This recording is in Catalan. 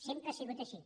sempre ha sigut així